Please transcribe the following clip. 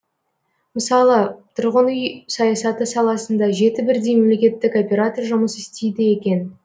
мысалы тұрғын үй саясаты саласында жеті бірдей мемлекеттік оператор жұмыс істейді екен